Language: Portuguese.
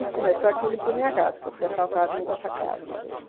E começou aquilo por minha casa, porque eu fui assaltada dentro dessa casa uma vez.